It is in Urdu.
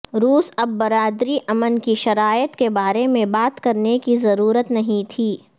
روس اب برادری امن کی شرائط کے بارے میں بات کرنے کی ضرورت نہیں تھی